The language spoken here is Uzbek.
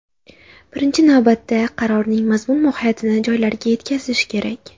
Birinchi navbatda qarorning mazmun-mohiyatini joylarga yetkazish kerak.